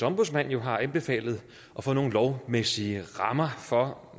ombudsmand jo har anbefalet at få nogle lovmæssige rammer for